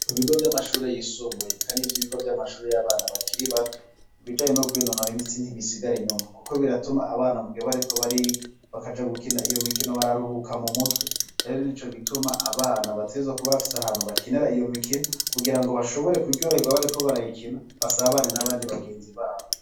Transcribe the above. Ku bigo vy'amashuri yisumbuye, kandi ivyo ibigo vy'amashuri y'abana bakiri bato ibijaye no kwinonora imitsi ntibisigare inyuma, kuko biratuma abana buge bariko barig bakaja gukina iyo mikino bararuhuka mu mutwe ereri ni co gituma abana bateza ku bafise ahantu bakinera iyo mikino kugira ngo bashobore kuryoherwa bariko barayikina basabane n'abandi bagenzi babo.